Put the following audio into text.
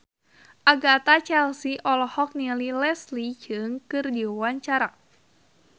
Agatha Chelsea olohok ningali Leslie Cheung keur diwawancara